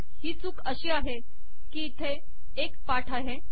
ही चूक अशी आहे की इथे एक पाठ आहे